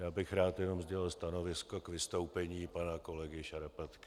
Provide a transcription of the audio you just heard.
Já bych rád jenom sdělil stanovisko k vystoupení pana kolegy Šarapatky.